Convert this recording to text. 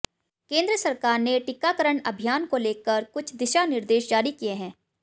केंद्र सरकार ने टीकाकरण अभियान को लेकर कुछ दिशानिर्देश जारी किए हैं